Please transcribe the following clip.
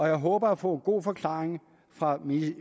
jeg håber at få en god forklaring fra